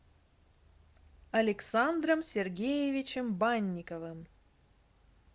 александром сергеевичем банниковым